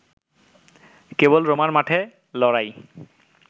কেবল রোমার মাঠে লড়াই